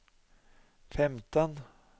femten